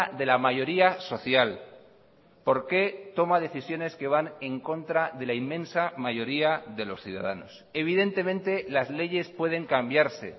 de la mayoría social por qué toma decisiones que van en contra de la inmensa mayoría de los ciudadanos evidentemente las leyes pueden cambiarse